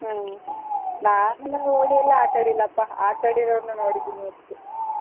ಹ್ಮ್, ನಾವೆಲ್ಲಾ ಹೋಳಿ ಎಲ್ಲಾಆಟಾಡಿಲ್ಲಪ್ಪ. ಆಟಾಡಿರೋರ್ನು ನೋಡಿದ್ದೀನಿ ಅಷ್ಟೇ.